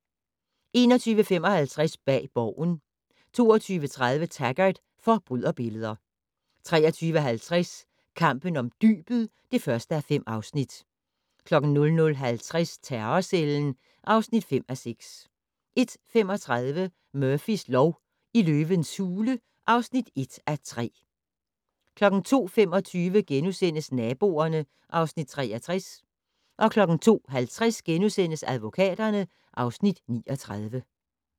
21:55: Bag Borgen 22:30: Taggart: Forbryderbilleder 23:50: Kampen om dybet (1:5) 00:50: Terrorcellen (5:6) 01:35: Murphys lov: I løvens hule (1:3) 02:25: Naboerne (Afs. 63)* 02:50: Advokaterne (Afs. 39)*